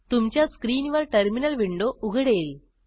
तुमच्या स्क्रीनवर terminal window उघडेल